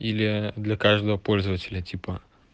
или для каждого пользователя типа